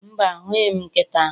Mba, ahụghị m nkịta ahụ